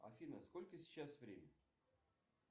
афина сколько сейчас время